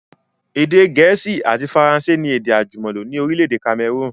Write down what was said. Èdè gẹ̀ẹ́sì àti Faransé ni èdè àjùmọ̀lò ni orílẹ̀èdè Cameroon